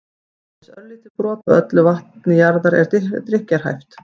aðeins örlítið brot af öllu vatni jarðar er drykkjarhæft